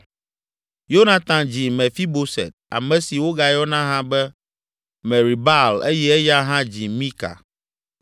Yonatan dzi Mefiboset, ame si wogayɔna hã be Meribaal eye eya hã dzi Mika.